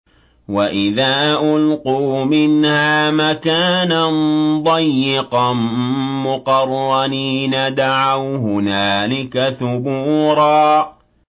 وَإِذَا أُلْقُوا مِنْهَا مَكَانًا ضَيِّقًا مُّقَرَّنِينَ دَعَوْا هُنَالِكَ ثُبُورًا